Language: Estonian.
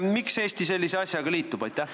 Miks Eesti sellise asjaga liitub?